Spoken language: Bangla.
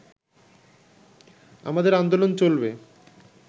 আমাদের আন্দোলন চলবে